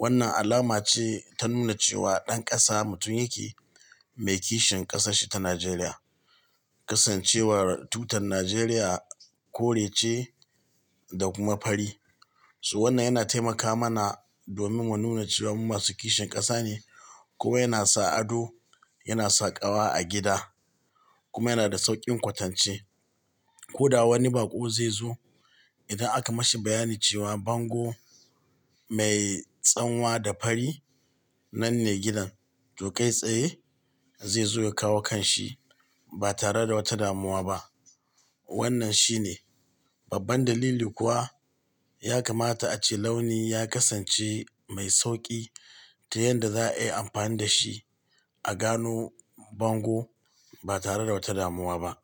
Wannan alama ce ta nuna cewa ɗan ƙasa mutum yake mai kishin ƙasarshi ta Najeriya. Kasancewar tutar Najeriya kore ce da kuma fari, so wannan yana taimaka mana domin mu nuna cewa mu masu kishin ƙasa ne kuma yana sa ado, yana saƙawa a gida kuma yana da sauƙin kwatance. Ko da wani baƙo zai zo, idan aka mashi bayani cewa bango mai tsanwa da fari, nanne gidan, to kai tsaye, zai zo ya kawo kanshi, ba tare da wata damuwa ba. Wannan shine, babban dalili kuwa, ya kamata ace launi ya kasance mai sauƙi ta yanda za'a iya amfani da shi a gano bango ba tare da wata damuwa ba.